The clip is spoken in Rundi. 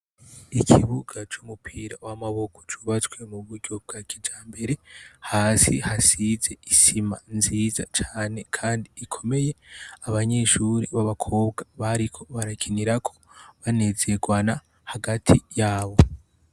Ikibuga c'umupira w'amaboko cubatswe mu buryo bwa kijambere. Hasi hasizwe isima nziza cane kandi ikomeye. Abanyeshure b'abakobwa bariko barakinirako banezerwana hagati y'abo.